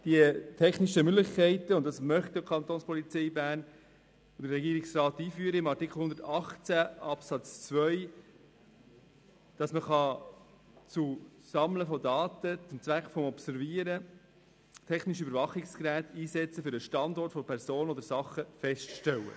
Mit Artikel 118 Absatz 2 möchten die Kapo Bern und der Regierungsrat die technische Möglichkeit einführen, dass man zum Sammeln von Daten oder zum Zweck der Observation technische Überwachungsgeräte einsetzen kann, um den Standort einer Person oder einer Sache festzustellen.